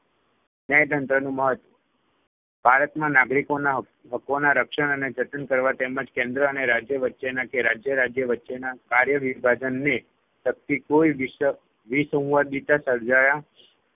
ન્યાયતંત્રનું મહત્વ ભારતમાં નાગરિકોના હકો હકોના રક્ષણ અને જતન કરવા તેમજ કેન્દ્ર અને રાજ્ય વચ્ચેના કે રાજ્ય-રાજયના વચ્ચેના કાર્ય વિભાજનને લગતી કોઈ વિસ વિસંવાદિદિતા સર્જાયા